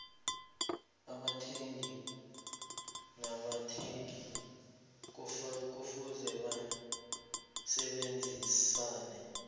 abathengisi nabathengi kufuze basebenzisane